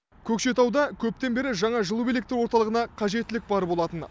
көкшетауда көптен бері жаңа жылу электр орталығына қажеттілік бар болатын